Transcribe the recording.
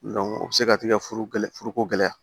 o bɛ se ka tigɛ furuko gɛlɛya